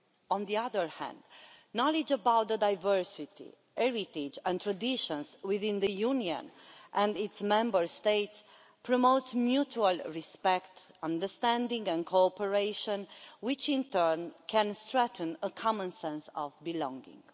On the other hand, knowledge about the diversity, heritage and traditions within the Union and its Member States promotes mutual respect, understanding and cooperation, which in turn can strengthen a common sense of belonging.